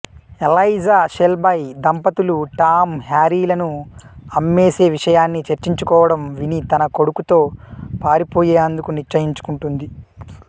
Elijah Shelby దంపతులు Tom హ్యారీలను అమ్మేసే విషయాన్ని చర్చించుకోవడం విని తన కొడుకుతో పారిపోయేందుకు నిశ్చయించుకుంటుంది